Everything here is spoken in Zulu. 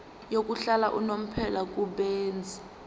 yokuhlala unomphela kubenzi